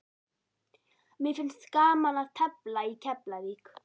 Mér finnst gaman að tefla í Keflavík.